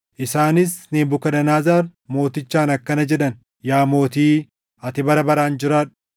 Isaanis Nebukadnezar Mootichaan akkana jedhan; “Yaa mootii, ati bara baraan jiraadhu!